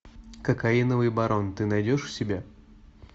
кокаиновый барон ты найдешь у себя